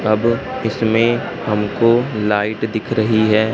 अब इसमें हमको लाइट दिख रही है।